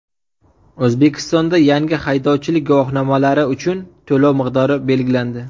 O‘zbekistonda yangi haydovchilik guvohnomalari uchun to‘lov miqdori belgilandi.